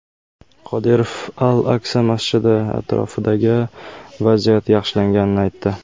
Qodirov Al-Aksa masjidi atrofidagi vaziyat yaxshilanganini aytdi.